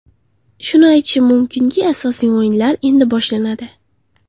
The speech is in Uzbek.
Shuni aytishim mumkinki, asosiy o‘yinlar endi boshlanadi.